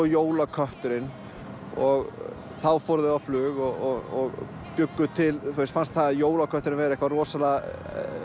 jólakötturinn og þá fóru þau á flug og bjuggu til þeim fannst jólakötturinn vera eitthvað rosa